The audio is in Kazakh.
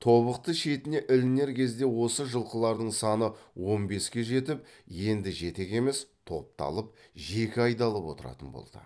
тобықты шетіне ілінер кезде осы жылқылардың саны он беске жетіп енді жетек емес топталып жеке айдалып отыратын болды